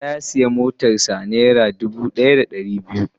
Musa ya siya motar sa naira dubu daya da dari biyar.